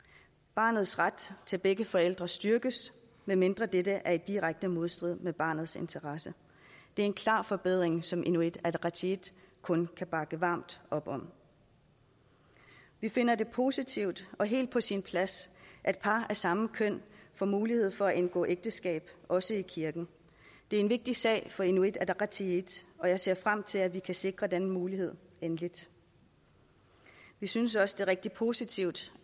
barnets ret til begge forældre styrkes medmindre dette er i direkte modstrid med barnets interesser det er en klar forbedring som inuit ataqatigiit kun kan bakke varmt op om vi finder det positivt og helt på sin plads at par af samme køn får mulighed for at indgå ægteskab også i kirken det er en vigtig sag for inuit ataqatigiit og jeg ser frem til at vi kan sikre den mulighed endeligt vi synes også det er rigtig positivt